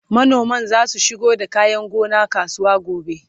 manoman zasu shigo da kayan gona kasuwa gobe